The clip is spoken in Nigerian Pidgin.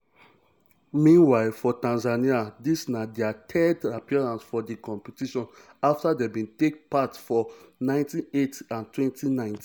meanwhile for tanzania dis na dia third appearance for di competition afta dem bin take part for 1980 and 2019.